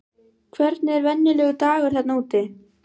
Hvernig er venjulegur dagur þarna úti?